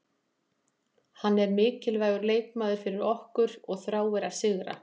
Hann er mikilvægur leikmaður fyrir okkur og þráir að sigra.